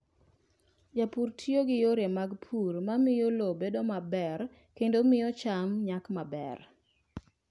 Jopur tiyo gi yore mag pur ma miyo lowo bedo maber kendo miyo cham nyak maber.